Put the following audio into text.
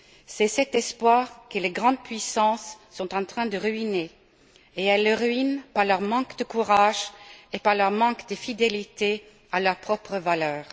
C'est cet espoir que les grandes puissances sont en train de ruiner et elles le ruinent par leur manque de courage et par leur manque de fidélité à leurs propres valeurs.